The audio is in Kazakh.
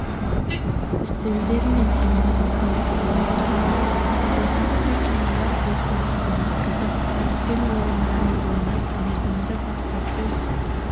үстелдер мен семинарлар өткізілетін болады орталықта қариялар бос уақытын өткізіп үстел ойындарын ойнап мерзімді баспасөз